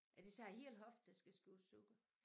Er det så æ hele hofte der skal skiftes ud?